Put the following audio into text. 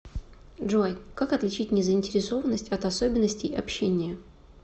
джой как отличить незаинтересованность от особенностей общения